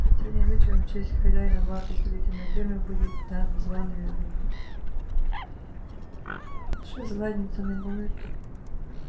сегодня вечером в честь хозяина богатой строительной фирмы будет дан званый обед